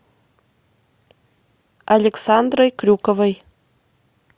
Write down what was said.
александрой крюковой